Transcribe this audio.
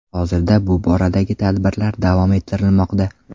Hozirda bu boradagi tadbirlar davom ettirilmoqda.